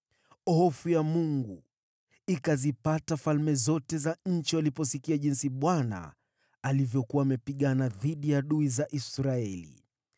Hofu ya Mungu ikazipata falme zote za nchi waliposikia jinsi Bwana alivyokuwa amepigana dhidi ya adui za Israeli.